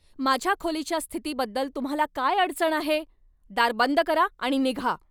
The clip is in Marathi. माझ्या खोलीच्या स्थितीबद्दल तुम्हाला काय अडचण आहे? दार बंद करा आणि निघा.